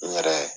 N yɛrɛ